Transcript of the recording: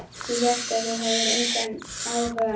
Ég hélt að þú hefðir engan áhuga.